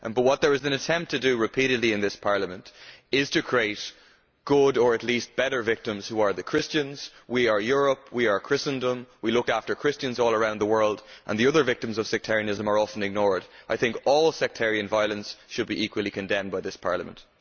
but what there is an attempt to do, repeatedly, in this Parliament is to create good' or at least better' victims who are the Christians we are Europe, we are Christendom, we look after Christians all around the world and the other victims of sectarianism are often ignored. I think all sectarian violence should be equally condemned by this Parliament.